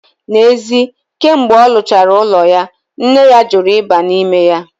N'ezi kemgbe olu chara ulo ya, nne ya juru iba nime ya.